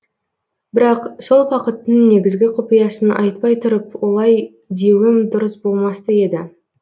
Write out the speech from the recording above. бірақ сол бақыттың негізгі құпиясын айтпай тұрып олай деуім дұрыс болмас та еді